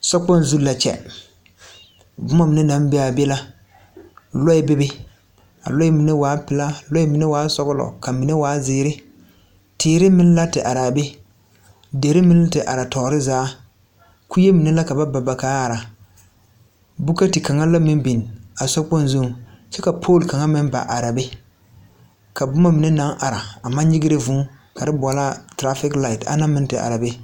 Sokpong zu la a kyɛ. Boma mine naŋ be a la ;lɔɛ beebe ka a mine waa pelaa, kaa mine waa sɔglɔ kyɛ ka mine waa ziire. Tiire meŋ arɛɛ la kyɛ ka deri meŋ te are tɔɔre zaa kyɛ ka ba ba kuree meŋ ka a are. Bootu biŋ la a sokpong zu kyɛ ka pooli meŋ ba are. Tɔrɔfig laate meŋ la ba are.